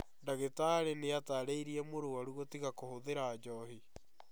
Ndagitari nĩatarĩte mũrwaru gũtiga kũhũthira njohi